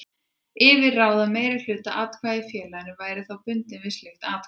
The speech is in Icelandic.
yfir að ráða meirihluta atkvæða í félaginu væri þá bundinn við slíkt ákvæði.